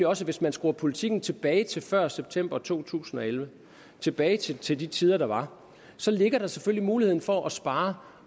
også at hvis man skruer politikken tilbage til før september to tusind og elleve tilbage til til de tider der var så ligger der selvfølgelig muligheden for at spare